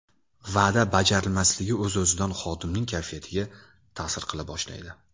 Va’da bajarilmasligi o‘z-o‘zidan xodimning kayfiyatiga ta’sir qila boshlaydi.